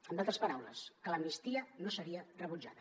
en altres paraules que l’amnistia no seria rebutjada